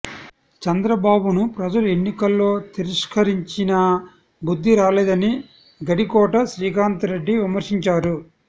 చంద్రబాబును ప్రజలు ఎన్నికల్లో తిరస్కరించినా బుద్ధి రాలేదని గడికోట శ్రీకాంత్రెడ్డి విమర్శించారు